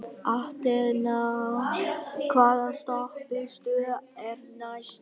Athena, hvaða stoppistöð er næst mér?